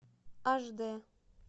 аш де